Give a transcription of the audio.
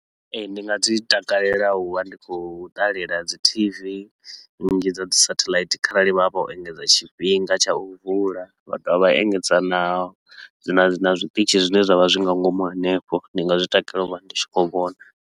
Ee, ndi nga dzi takalela u vha ndi khou ṱalela dzi T_V nnzhi dza dzi satellite kharali vha vho engedza tshifhinga tsha u vula, vha dovha vha engedza na dzi na na zwiṱitshi zwine zwa vha zwi nga ngomu henefho, ndi nga zwi takalela u vha ndi tshi khou vhona.